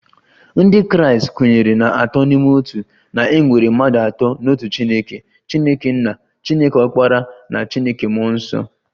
Ndị Kraịst kwenyere na Atọ n'Ime Otu, na e nwere mmadụ atọ n'otu Chineke, Chineke nna, Chineke ọkpara na Chineke mmụọ nsọ